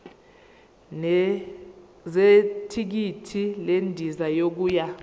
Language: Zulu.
zethikithi lendiza yokuya